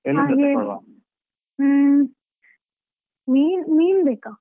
ಹ್ಮ್ ಮೀನು~ ಮೀನ್ಬೇಕಾ?